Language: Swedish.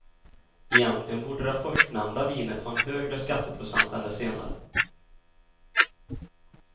Egentligen borde det förstnämnda vinet ha en högre skatteprocent än det senare.